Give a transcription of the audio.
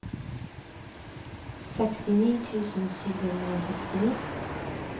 sekstini tusen sju hundre og sekstini